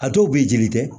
A dɔw b'i jeli kɛ